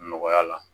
Nɔgɔya la